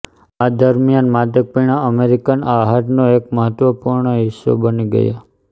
આ દરમ્યાન માદક પીણાં અમેરિકન આહારનો એક મહત્વપૂર્ણ હિસ્સો બની ગયા